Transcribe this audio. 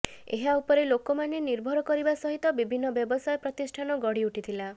ଏହା ଉପରେ ଲୋକମାନେ ନିର୍ଭର କରିବା ସହିତ ବିଭିନ୍ନ ବ୍ୟବସାୟ ପ୍ରତିଷ୍ଠାନ ଗଢ଼ି ଉଠିଥିଲା